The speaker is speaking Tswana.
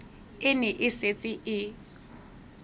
e ne e setse e